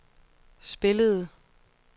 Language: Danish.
spillede